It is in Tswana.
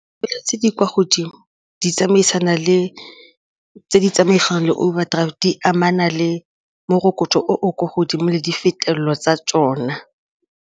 Tse di kwa godimo di tsamaisana le tse di tsamaisang le overdraft di amana le morokotso o o kwa godimo le difetelelwa tsa tsona.